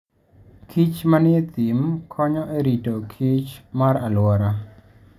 kich manie thim konyo e rito kichr mar alwora.